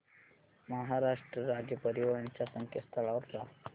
महाराष्ट्र राज्य परिवहन च्या संकेतस्थळावर जा